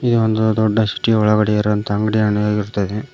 ಇದು ಒಂದು ದೊಡ್ಡ ಸಿಟಿ ಒಳಗಡೆ ಇರುವಂತಹ ಅಂಗಡಿಯನ್ನು ಆಗಿರುತ್ತದೆ.